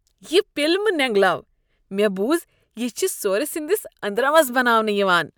یہ پِل مہ نینگلاو ۔ مےٚ بوُز یہِ چھِ سورٕ سنٛدس اندرمس بناونہٕ یوان۔